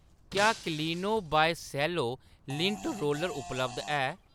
क्या क्लीनो by Cello lint roller उपलब्ध है ?